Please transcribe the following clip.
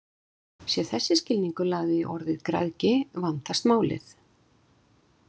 Sé þessi skilningur lagður í orðið græðgi vandast málið.